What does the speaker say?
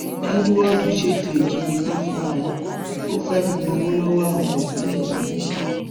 edward ṣètò ìjínigbé fúnra ẹ ò fẹẹ fi gbowó ńlá lọwọ àwọn òbí ẹ ní mọwé